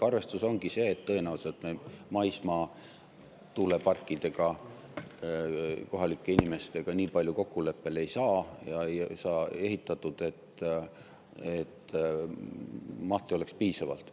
Arvestus ongi see, et tõenäoliselt me maismaa tuuleparkide puhul kohalike inimestega nii palju kokkuleppele ei jõua ja ei saa nii palju ehitatud, et mahtu oleks piisavalt.